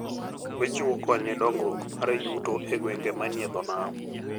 Ochiwo kony ne dongruok mar yuto e gwenge manie dho nam.